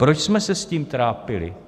Proč jsme se s tím trápili?